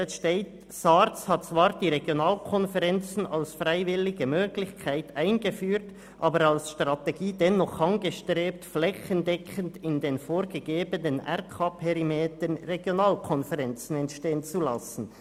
«SARZ hat zwar die Regionalkonferenzen als freiwillige Möglichkeit eingeführt, aber als Strategie dennoch angestrebt, flächendeckend in den vorgegebenen RKPerimetern Regionalkonferenzen entstehen zu lassen.